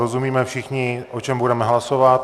Rozumíme všichni, o čem budeme hlasovat.